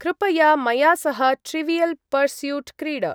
कृपया मया सह ट्रिवियल् पर्स्यूट् क्रीड।